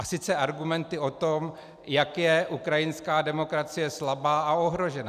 A sice argumenty o tom, jak je ukrajinská demokracie slabá a ohrožená.